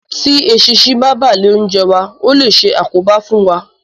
Tí eṣinṣin bá bà lé oúnjẹ wa, ó lè ṣe àkóbá fún wa